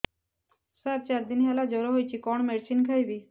ସାର ଚାରି ଦିନ ହେଲା ଜ୍ଵର ହେଇଚି କଣ ମେଡିସିନ ଖାଇବି